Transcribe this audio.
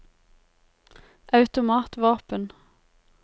automatvåpen